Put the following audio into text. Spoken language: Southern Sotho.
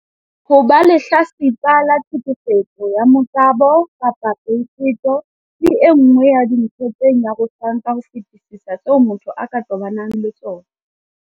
Ho ba lehlatsipa la tlheke fetso ya motabo kapa peto ke e nngwe ya dintho tse nyarosang ka ho fetisisa tseo motho a ka tobanang le tsona.